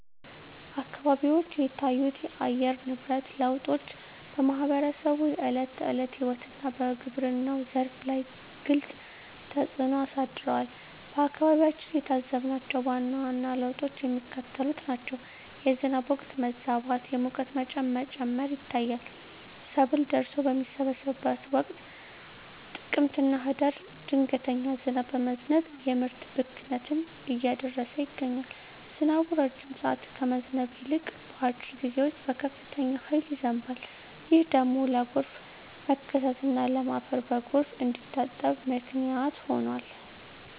አካባቢዎች የታዩት የአየር ንብረት ለውጦች በማኅበረሰቡ የዕለት ተዕለት ሕይወትና በግብርናው ዘርፍ ላይ ግልጽ ተፅእኖ አሳድረዋል። በአካባቢያችን የታዘብናቸው ዋና ዋና ለውጦች የሚከተሉት ናቸው፦ የዝናብ ወቅት መዛባት፣ የሙቀት መጠን መጨመር ይታያል። ሰብል ደርሶ በሚሰበሰብበት ወቅት (ጥቅምትና ህዳር) ድንገተኛ ዝናብ በመዝነብ የምርት ብክነትን እያደረሰ ይገኛል። ዝናቡ ረጅም ሰዓት ከመዝነብ ይልቅ፣ በአጭር ጊዜ ውስጥ በከፍተኛ ኃይል ይዘንባል። ይህ ደግሞ ለጎርፍ መከሰትና ለም አፈር በጎርፍ እንዲታጠብ ምክንያት ሆኗል።